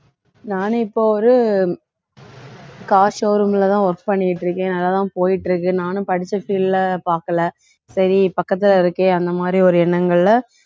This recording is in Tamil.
நானு இப்ப ஒரு car showroom லதான் work பண்ணிட்டு இருக்கேன் நல்லாதான் போயிட்டிருக்கு நானும் படிச்ச field ல பார்க்கல சரி பக்கத்துல இருக்கு அந்த மாதிரி ஒரு எண்ணங்கள்ல